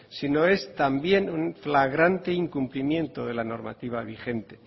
sino es también un fragante incumplimiento de la normativa vigente